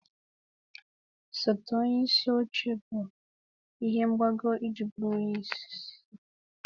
Osote onye isi oche bụ ihe mgbago iji bụrụ onye isi.